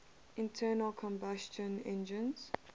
internal combustion engines